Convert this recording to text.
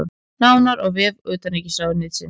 Nánar á vef utanríkisráðuneytisins